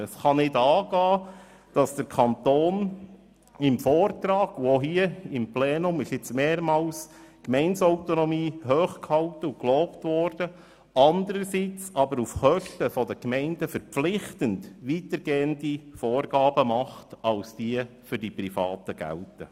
Es kann nicht angehen, dass der Kanton im Vortrag die Gemeindeautonomie lobt, welche auch hier immer wieder gelobt worden ist, andererseits aber auf Kosten der Gemeinden verpflichtend weitergehende Vorgaben macht, als diese für Private gelten.